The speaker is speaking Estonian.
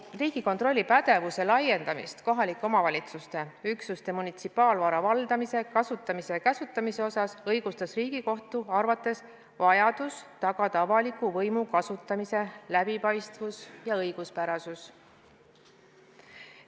Riigikontrolli pädevuse laiendamist kohalike omavalitsuste üksuste munitsipaalvara valdamise, kasutamise ja käsutamise osas õigustas Riigikohtu arvates vajadus tagada avaliku võimu kasutamise läbipaistvus ja õiguspärasus.